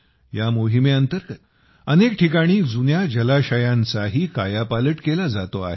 या मोहिमेंतर्गत अनेक ठिकाणी जुन्या जलाशयांचाही कायापालट केला जातो आहे